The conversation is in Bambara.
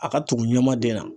A ka tugu ɲamaden na.